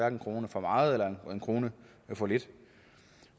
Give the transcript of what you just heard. en krone for meget eller en krone for lidt